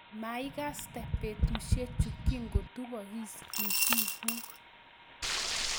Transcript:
maikastei betusiechu kikotupokis itiikuk